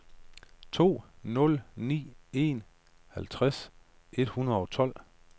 to nul ni en halvtreds otte hundrede og tolv